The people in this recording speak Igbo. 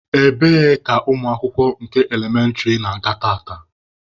Ebee ka ụmụ akwụkwọ nke elementịrị na-aga tata?